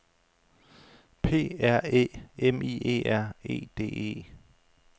P R Æ M I E R E D E